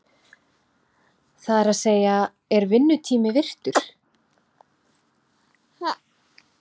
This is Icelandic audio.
Það er að segja, er vinnutími virtur?